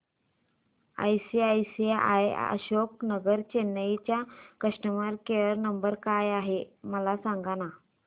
ICICI Ashok Nagar Chennai चा customer care number काय आहे मला सांगाना